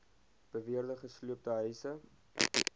beweerde gesloopte huise